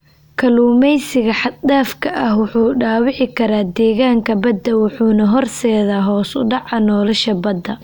Kalluumeysiga xad dhaafka ah wuxuu dhaawici karaa deegaanka badda wuxuuna horseedaa hoos u dhaca nolosha badda.